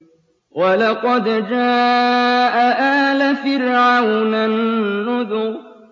وَلَقَدْ جَاءَ آلَ فِرْعَوْنَ النُّذُرُ